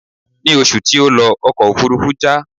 Ní oṣù tí ó lọ, ọkọ̀ òfúrúfú já.